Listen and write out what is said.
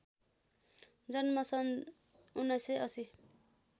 जन्म सन् १९८०